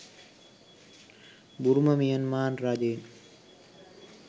බුරුම Myanmar රජයෙන්